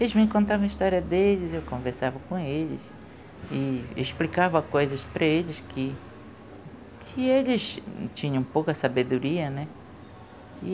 Eles me contavam a história deles, eu conversava com eles e explicava coisas para eles, que eles tinham pouca sabedoria, né?